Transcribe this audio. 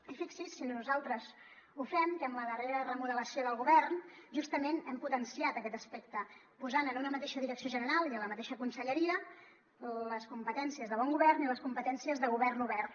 i fixi’s si nosaltres ho fem que amb la darrera remodelació del govern justament hem potenciat aquest aspecte posant en una mateixa direcció general i en la mateixa conselleria les competències de bon govern i les competències de govern obert